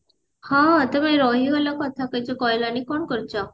ହଁ ତମେ ରହିଗଲ କଥା କିଛି କହିଲନି କଣ କରୁଛ